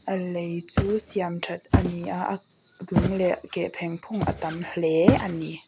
a lei chu siam that ani a a lung leh keh pheng phung a tam hle ani.